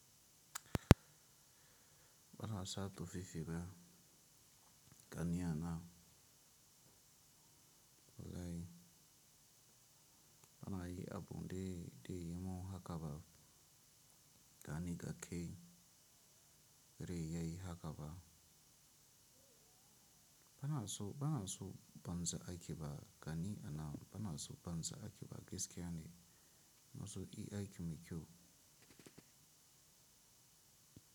Bana sa tufafi ba gani anan, walahi bana yi abu dai dai yi mun haka ba gani da ke, rai yayi haka ba. Bana so, bana so banza aiki ba gani anan bana so banza aiki ba gaskiya ne. Na zo yi aiki mai kyau.